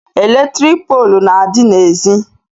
Eletrik poolu na-adị n'ezi